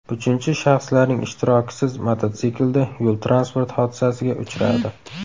uchinchi shaxslarning ishtirokisiz mototsiklda yo‘l-transport hodisasiga uchradi.